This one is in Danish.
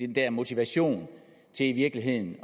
den motivation til i virkeligheden